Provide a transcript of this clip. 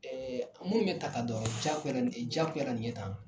a minnu bɛ ta ka dɔ a rɔ jakuyara nin jakuyara nin ye tan